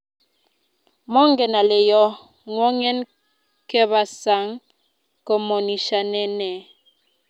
Mongen ale yoo ngwongeng ke bas saang komonishane nee?